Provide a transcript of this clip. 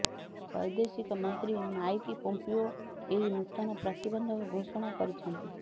ବ୘ଦେଶିକ ମନ୍ତ୍ରୀ Mike Pompeo ଏହି ନୂତନ ପ୍ରତିବନ୍ଧକ ଘୋଷଣା କରିଛନ୍ତି